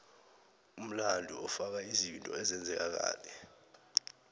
umlando ufaka izinto ezenzeka kade